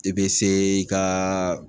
I bɛ se i ka